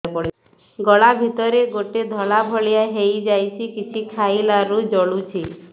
ଗଳା ଭିତରେ ଗୋଟେ ଧଳା ଭଳିଆ ହେଇ ଯାଇଛି କିଛି ଖାଇଲାରୁ ଜଳୁଛି